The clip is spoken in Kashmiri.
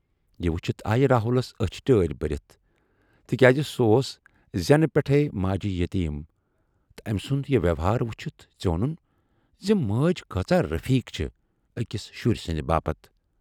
یہِ وُچھِتھ آیہِ راہُلس ٲچھ ٹٲرۍ بٔرِتھ تِکیازِ سُہ اوس زٮ۪نہٕ پٮ۪ٹھٕے ماجہِ یتیٖم تہٕ ٲمۍ سُند یہِ وٮ۪وہار وُچھِتھ ژیوٗنُن زِ مٲج کۭژاہ رفیٖق چھے ٲکِس شُرۍ سٕندِ باپتھ۔